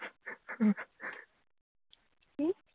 কি